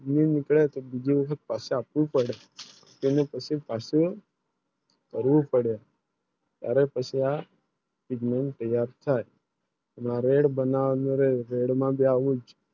બીજી મને પાશ આપવું પડે તેને પછી પાસો જરૂર પડે તારે પશ્યા મારે બનાવને મરે Red માં ભી આવું